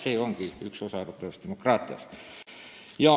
See ongi üks osa arutlevast demokraatiast.